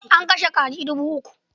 An kashe kaji dubu uku.